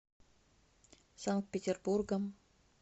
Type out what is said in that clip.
санкт петербургом